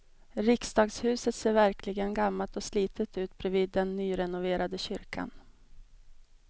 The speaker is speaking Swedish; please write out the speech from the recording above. Riksdagshuset ser verkligen gammalt och slitet ut bredvid den nyrenoverade kyrkan.